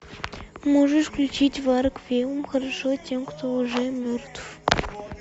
можешь включить варг веум хорошо тем кто уже мертв